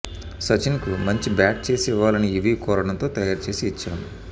సచిన్కు మంచి బ్యాట్ చేసి ఇవ్వాలని యువీ కోరడంతో తయారు చేసి ఇచ్చాం